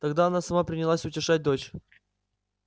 тогда она сама принялась утешать дочь